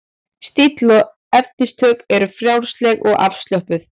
Stíll og efnistök eru frjálsleg og afslöppuð.